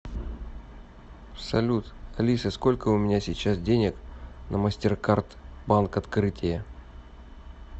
салют алиса сколько у меня сейчас денег на мастеркард банк открытие